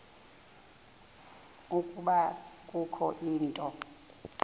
ukuba kukho into